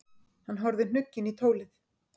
Hann horfði hnugginn í tólið.